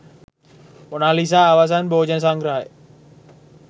Mona Lisa අවසන් භෝජන සංග්‍රහය